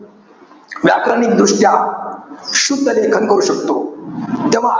व्याकरणिक दृष्ट्या शुद्धलेखन करू शकतो. तेव्हा,